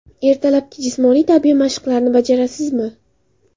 Ertalabki jismoniy tarbiya mashqlarini bajarasizmi?